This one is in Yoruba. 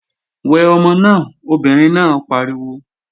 Wẹ ọmọ náà! Obìnrin náà pariwo.